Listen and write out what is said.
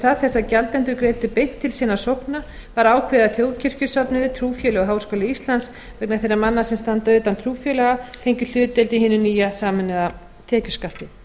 stað þess að gjaldendur greiddu beint til sinna sókna var ákveðið að þjóðkirkjusöfnuðir trúfélög og háskóli íslands vegna þeirra manna sem standa utan trúfélaga fengju hlutdeild í hinum nýja sameinaða tekjuskatti